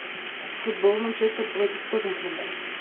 футбол манчестер против тоттенхэма